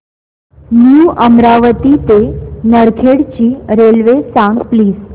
new Amravati ते नरखेड ची railway सांग प्लीज